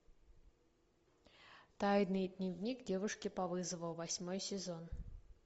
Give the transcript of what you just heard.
тайный дневник девушки по вызову восьмой сезон